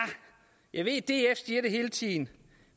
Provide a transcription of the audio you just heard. jeg ved at df siger det hele tiden